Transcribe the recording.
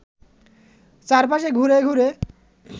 চারপাশে ঘুরে ঘুরে